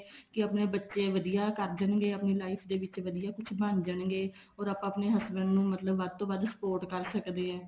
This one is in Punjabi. ਕੇ ਆਪਣੇ ਬੱਚੇ ਵਧੀਆ ਕਰ ਦੇਣਗੇ life ਦੇ ਵਿੱਚ ਵਧੀਆ ਕੁਛ ਬਣ ਜਾਣਗੇ ਓਦੋਂ ਤੱਕ ਆਪਣੇ husband ਨੂੰ ਮਤਲਬ ਵੱਧ ਤੋਂ ਵੱਧ support ਕਰ ਸਕਦੇ ਹਾਂ